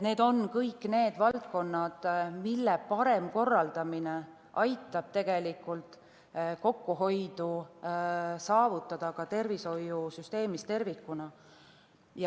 Need on kõik need valdkonnad, mille parem korraldamine aitab kokkuhoidu saavutada ka tervishoiusüsteemis tervikuna.